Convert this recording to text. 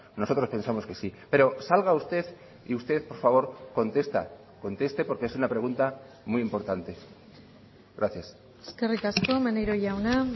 nosotros pensamos que sí pero salga usted y usted por favor contesta conteste porque es una pregunta muy importante gracias eskerrik asko maneiro jauna